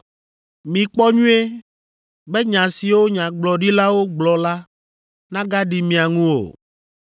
Mikpɔ nyuie, be nya siwo nyagblɔɖilawo gblɔ la nagaɖi mia ŋu o.